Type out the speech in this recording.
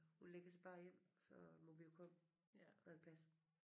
Hun ligger sig bare ind og så må vi jo komme når det passer